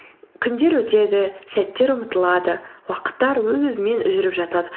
күндер өтеді сәттер ұмытылады уақыттар өз өзімен жүріп жатады